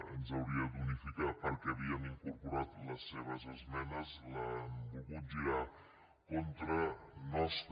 ens hauria d’unificar perquè havíem incorporat les seves esmenes l’han volgut girar contra nostre